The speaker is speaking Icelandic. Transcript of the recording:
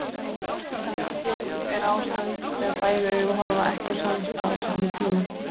Rangeygð er ástand þegar bæði augu horfa ekki á sama stað á sama tíma.